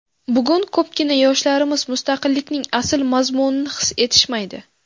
Bugun ko‘pgina yoshlarimiz mustaqillikning asl mazmunini his etishmaydi.